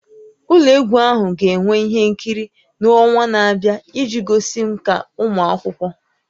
Ụlọ egwu ahụ ga-enwe ihe nkiri n'ọnwa na-abịa iji gosi nkà ụmụ akwụkwọ